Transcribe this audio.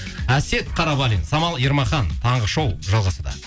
әсет қарабалин самал ермахан таңғы шоу жалғасуда